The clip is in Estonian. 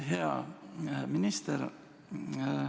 Hea minister!